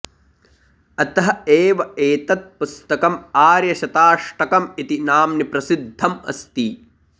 अतः एव एतत् पुस्तकम् आर्यशताष्टकम् इति नाम्नि प्रसिद्धम् अस्ति